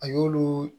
A y'olu